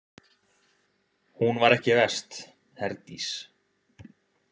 Hún var ekki verst, Herdís.